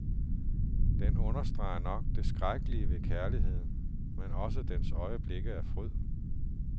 Den understreger nok det skrækkelige ved kærligheden, men også dens øjeblikke af fryd.